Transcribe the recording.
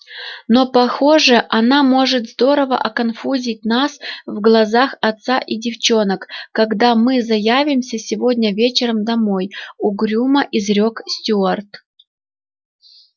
но похоже она может здорово оконфузить нас в глазах отца и девчонок когда мы заявимся сегодня вечером домой угрюмо изрёк стюарт